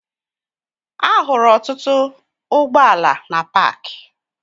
Ahụrụ ọtụtụ ụgbọala na paakị